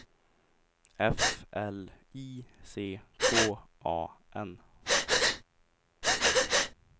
F L I C K A N